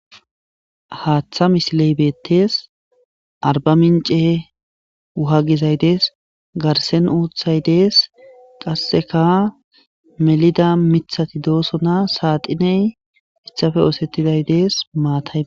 Haththa missile betes ariba mince wuha gizay des garisen uthay des qaseka melida miththati deosona saxine hitappe osetiday des matay.